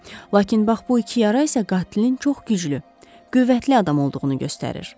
Lakin bax bu iki yara isə qatilin çox güclü, qüvvətli adam olduğunu göstərir.